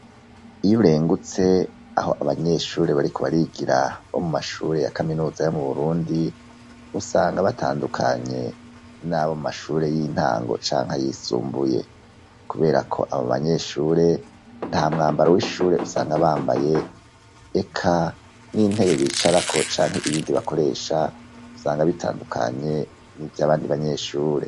iyo urengutse aho abanyeshure bariko barigira bo mumashure ya kaminuza yo mu burundi usanga batandukanye n'abo mumashure y'intango canke yisumbuye kubera ko abo banyeshure ntamwambaro w'ishure usanga bambaye eka n'intebe bicarako canke ibindi bakoresha usanga bitandukanye nivyo abandi banyeshure